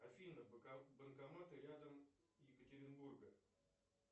афина банкоматы рядом екатеринбурга